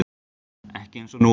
Ekki eins og nú er.